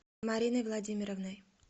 мариной владимировной